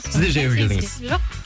сіз де жаяу келдіңіз жоқ